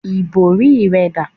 Ìbòrí rẹ dà?